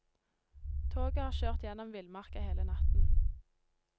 Toget har kjørt gjennom villmarka hele natten.